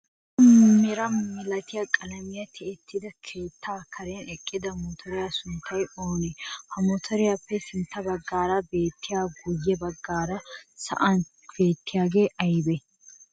Salo mera malatiya qalamiyan tiyetida keettaa karen eqqida mottoree sunttay oonee? Ha mottoriyappe sintta baggaara beettiyanne guye baggaara sa'an bettiyagee aybee?